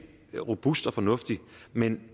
robust og fornuftig men